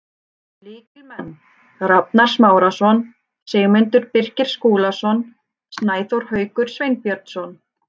Lykilmenn: Rafnar Smárason, Sigmundur Birgir Skúlason, Snæþór Haukur Sveinbjörnsson.